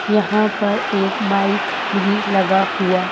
यहाँ पर एक माइक भी लगा हुआ--